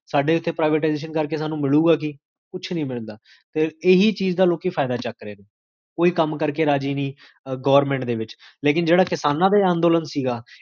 ਸ੍ਦ੍ਫ਼